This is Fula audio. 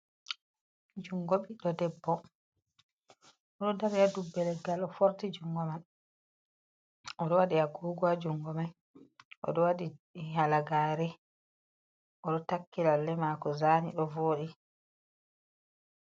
Junngo ɓiɗɗo debbo, o ɗo dari haa dubbe leggal. O foorti junngo man o ɗo waɗi agoogo haa junngo mai, o ɗo waɗi halagaare, o ɗo takki lalle maako zani ɗo vodi.